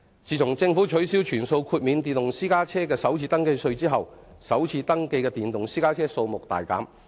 自政府取消全數豁免電動私家車的首次登記稅後，首次登記的電動私家車數目大減。